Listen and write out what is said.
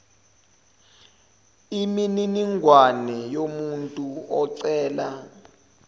imininingwane yomuntu ocela